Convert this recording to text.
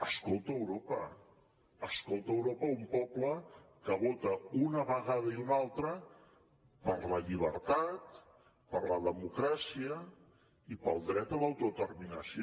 escolta europa un poble que vota una vegada i una altra per la llibertat per la democràcia i pel dret a l’autodeterminació